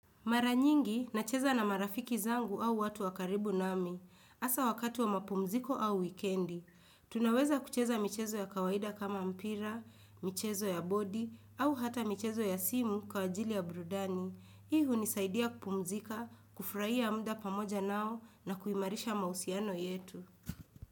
Mara nyingi nacheza na marafiki zangu au watu wa karibu nami. Hassa wakati wa mapumziko au wikendi. Tunaweza kucheza michezo ya kawaida kama mpira, michezo ya bodi au hata michezo ya simu kwa ajili ya brudani. Hii hunisaidia kupumzika, kufurahia muda pamoja nao na kuimarisha mahusiano yetu.